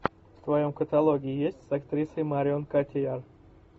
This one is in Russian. в твоем каталоге есть с актрисой марион котийяр